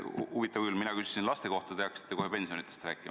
Huvitav küll, mina küsisin laste kohta, te hakkasite kohe pensionidest rääkima.